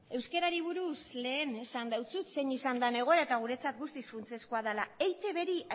euskarari buruz lehen esan dizut zein izan den egoera eta guretzat guztiz funtsezkoa da